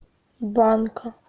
банка